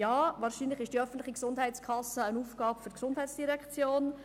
Ja, wahrscheinlich ist die öffentliche Gesundheitskasse eine Aufgabe für die GEF;